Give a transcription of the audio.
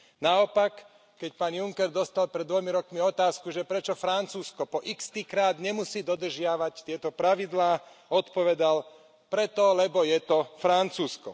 Naopak, keď pán Juncker dostal pred dvomi rokmi otázku, že prečo Francúzsko po ikstýkrát nemusí dodržiavať tieto pravidlá, odpovedal Preto, lebo je to Francúzsko.